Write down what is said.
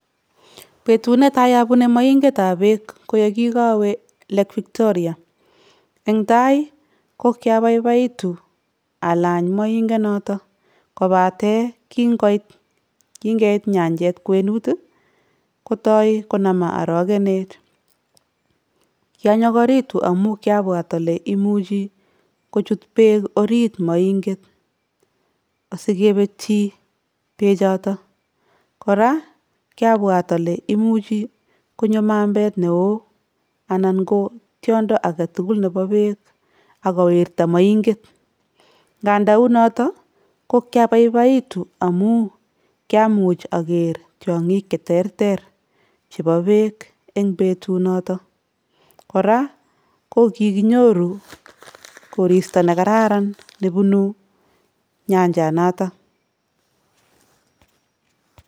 Betut ne tai abune moingetab beek kogikawe lLake Victoria. Eng tai kogigabaibaitu alany moingonotok, kobate kinkeit nyanjet kwenit ii, kotoi konaman arogenet. Kianyokoritu amun kiabwat ale imuchi kochut beek orit moinget asikibutyi beek choton. Kora kiabwat ale imuchi konyo mambet neo anan kotiondo agetugul nebo beek ak kowirta moinget. Nganda u notok ko kiababaitu amun kiamuch ager tiongik che terter chebo beek eng betunotok. Kora ko kikinyoru koristo negaran nebunu nyanjanotok.